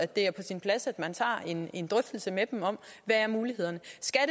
det er på sin plads at man tager en en drøftelse med dem om hvad mulighederne